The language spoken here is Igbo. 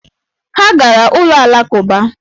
Ha gara ụlọ Alakụba